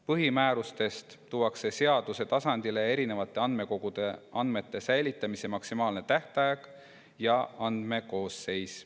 Põhimäärustest tuuakse seaduse tasandile erinevate andmekogude andmete säilitamise maksimaalne tähtaeg ja andmekoosseis.